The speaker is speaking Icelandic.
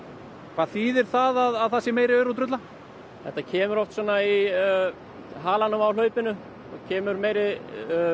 hvað þýðir það að það sé meiri aur og drulla þetta kemur oft í halanum á hlaupinu þá kemur meiri